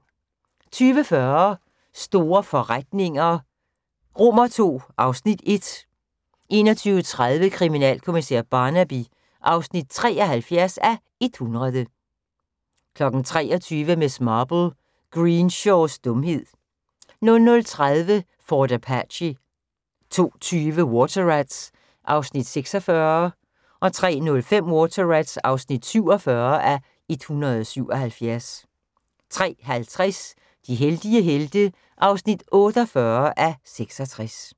20:40: Store forretninger II (Afs. 1) 21:30: Kriminalkommissær Barnaby (73:100) 23:00: Miss Marple: Greenshaws dumhed 00:30: Fort Apache 02:20: Water Rats (46:177) 03:05: Water Rats (47:177) 03:50: De heldige helte (48:66)